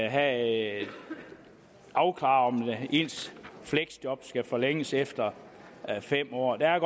have afklaret om ens fleksjob skal forlænges efter fem år der er